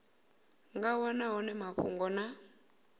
nga wana hone mafhungo na